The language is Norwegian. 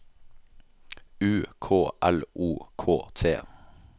U K L O K T